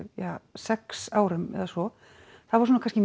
sex árum eða svo það var svona kannski